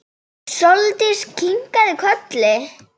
Sóldís kinkaði kolli.